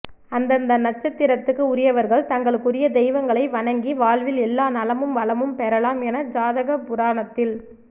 அந்தந்த நட்சத்திரக்கு உரியவர்கள் தங்களுக்குரிய தெய்வங்களை வணங்கி வாழ்வில் எல்லா நலமும் வளமும் பெறலாம் என ஜாதகபுராணத்தில்